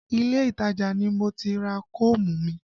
Ilé ìtajà ni mo ti ra koomu mi